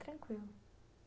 Tranquilo.